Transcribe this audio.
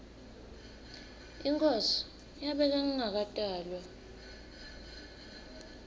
inkhosi yabekwa ngingakatalwa